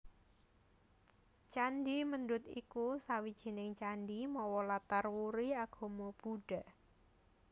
Candhi Mendut iku sawijining candhi mawa latar wuri agama Buddha